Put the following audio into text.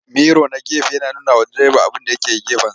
Miro na gefe yana nunawa direba abinda ya ke gefensa.